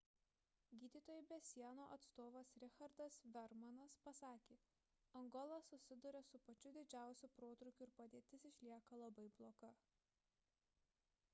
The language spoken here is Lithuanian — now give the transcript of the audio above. gydytojai be sienų atstovas richardas veermanas pasakė angola susiduria su pačiu didžiausiu protrūkiu ir padėtis išlieka labai bloga